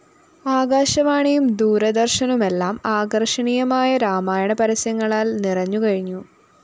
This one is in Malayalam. ആകാശവാണിയും ദൂരദ ര്‍ശനുമെല്ലാം ആകര്‍ഷണീയമായ രാമായണ പരസ്യങ്ങളാല്‍ നിറഞ്ഞുകഴിഞ്ഞു